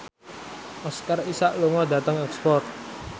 Oscar Isaac lunga dhateng Oxford